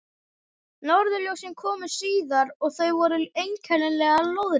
Norðurljósin komu síðar, og þau voru einkennilega lóðrétt.